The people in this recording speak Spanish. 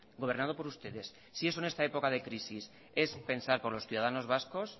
gobernado por ustedes si eso en esta época de crisis es pensar por los ciudadanos vascos